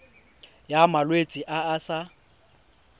ya malwetse a a sa